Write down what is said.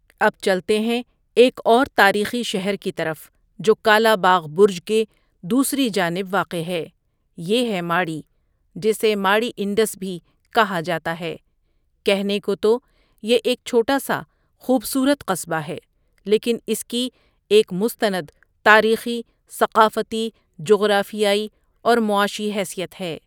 اب چلتے ہیں ایک اور تاریخی شہر کی طرف جو کالاباغ برج کے دوسری جانب واقع ہے یہ ہے ماڑی جسے ماڑٰی انڈس بھی کہا جاتا ہے کہنے کو تو یہ ایک چھوٹا سا خوب صورت قصبہ ہے لیکن اس کی ایک مستند تاریخی، ثقافتی، جغرافیائی اور معاشی حیثیت ہے ۔